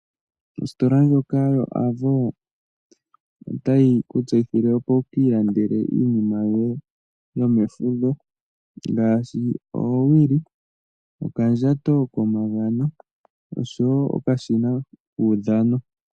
Ositola ndjoka yo Avo otayi ku tseyithile opo wu ki ilandele iinima yoye yomefudho ngaashi oowili, okandjato komagamo oshowo okashina kuudhano.